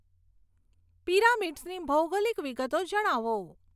પીરામીડસની ભૌગોલિક વિગતો જણાવો